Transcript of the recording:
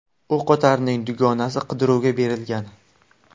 O‘qotarning dugonasi qidiruvga berilgan.